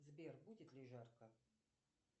сбер будет ли жарко